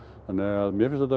þannig að mér finnst þetta